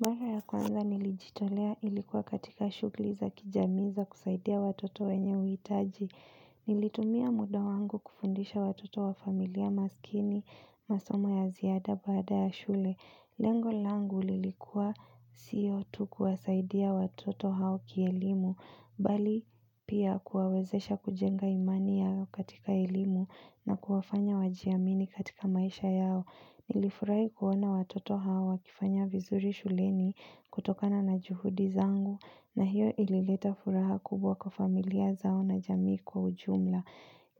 Mara ya kwanza nilijitolea ilikuwa katika shughuli za kijamii za kusaidia watoto wenye uhitaji. Nilitumia muda wangu kufundisha watoto wa familia maskini masomo ya ziada baada ya shule. Lengo langu lilikuwa sio tu kuwasaidia watoto hao kielimu. Bali pia kuwawezesha kujenga imani yao katika elimu na kuwafanya wajiamini katika maisha yao. Nilifurahi kuona watoto hawa wakifanya vizuri shuleni kutokana na juhudi zangu na hiyo ilileta furaha kubwa kwa familia zao na jamii kwa ujumla.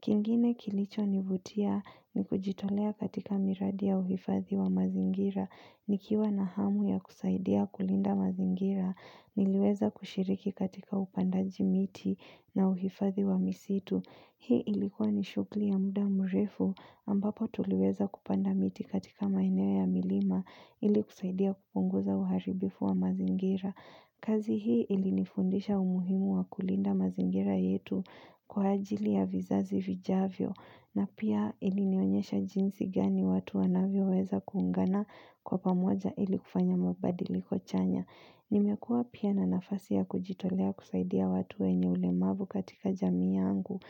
Kingine kilichonivutia ni kujitolea katika miradi uhifadhi wa mazingira, nikiwa na hamu ya kusaidia kulinda mazingira, niliweza kushiriki katika upandaji miti na uhifadhi wa misitu. Hii ilikuwa ni shughuli ya muda mrefu ambapo tuliweza kupanda miti katika maeneo ya milima ili kusaidia kupunguza uharibifu wa mazingira. Kazi hii ilinifundisha umuhimu wa kulinda mazingira yetu kwa ajili ya vizazi vijavyo na pia ilinionyesha jinsi gani watu wanavyoweza kuungana kwa pamoja ili kufanya mabadiliko chanya. Nimekuwa pia na nafasi ya kujitolea kusaidia watu wenye ulemavu katika jamii yangu.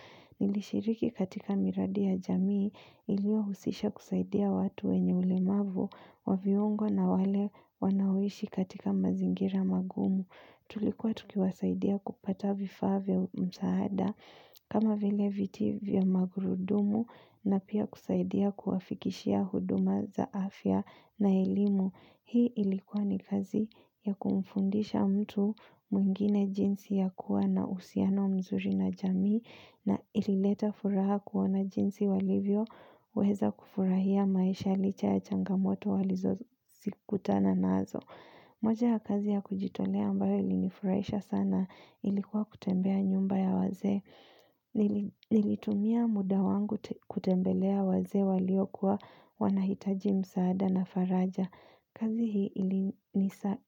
Nilishiriki katika miradi ya jamii iliyohusisha kusaidia watu wenye ulemavu wa viungo na wale wanaoishi katika mazingira magumu. Tulikuwa tukiwasaidia kupata vifaa vya msaada kama vile viti vya magurudumu na pia kusaidia kuwafikishia huduma za afya na elimu. Hii ilikuwa ni kazi ya kumfundisha mtu mwingine jinsi ya kuwa na uhusiano mzuri na jamii na ilileta furaha kuona jinsi walivyoweza kufurahia maisha licha ya changamoto walizokutana nazo. Moja ya kazi ya kujitolea ambayo ilinifurahisha sana ilikuwa kutembea nyumba ya wazee. Nilitumia muda wangu kutembelea wazee waliokuwa wanahitaji msaada na faraja. Kazi hii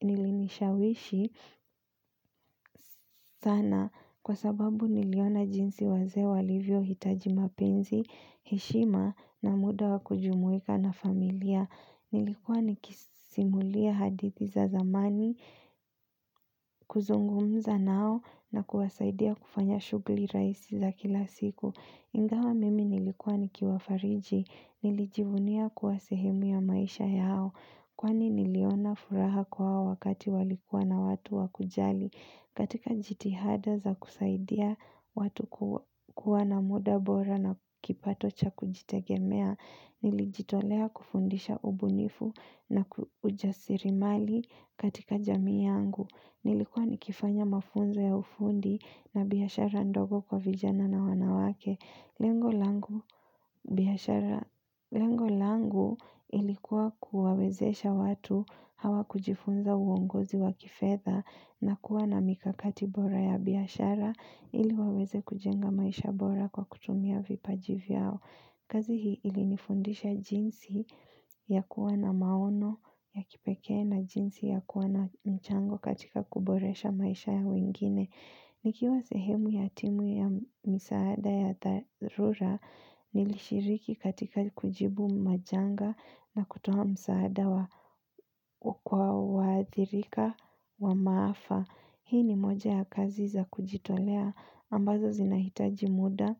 ilinishawishi sana kwa sababu niliona jinsi wazee walivyohitaji mapenzi, heshima na muda wa kujumuika na familia. Nilikuwa nikisimulia hadithi za zamani, kuzungumza nao na kuwasaidia kufanya shughuli rahisi za kila siku. Ingawa mimi nilikuwa nikiwafariji, nilijivunia kuwa sehemu ya maisha yao, kwani niliona furaha kwao wakati walikuwa na watu wa kujali. Katika jitihada za kusaidia watu kuwa na muda bora na kipato cha kujitegemea, nilijitolea kufundisha ubunifu na uraslimali katika jamii yangu. Nilikuwa nikifanya mafunzo ya ufundi na biashara ndogo kwa vijana na wanawake. Lengo langu ilikuwa kuwawezesha watu hawa kujifunza uongozi wa kifedha na kuwa na mikakati bora ya biashara ili waweze kujenga maisha bora kwa kutumia vipaji vyao. Kazi hii ili nifundisha jinsi ya kuwa na maono ya kipekee na jinsi ya kuwa na mchango katika kuboresha maisha ya wengine. Nikiwa sehemu ya timu ya misaada ya dharura nilishiriki katika kujibu majanga na kutoa msaada kwa waathirika wa maafa. Hii ni moja ya kazi za kujitolea ambazo zinahitaji muda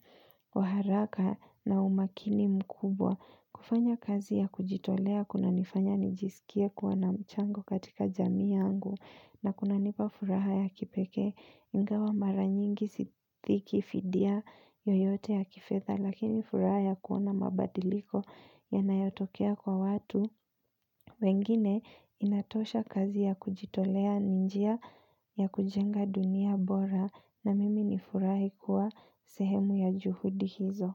wa haraka na umakini mkubwa. Kufanya kazi ya kujitolea kunanifanya nijisikia kuwa na mchango katika jamii yangu na kunanipa furaha ya kipekee ingawa mara nyingi sifiki fidia yoyote ya kifedha lakini furaha ya kuona mabadiliko yanayotokea kwa watu wengine inatosha kazi ya kujitolea. Ni njia ya kujenga dunia bora na mimi nifurahi kuwa sehemu ya juhudi hizo.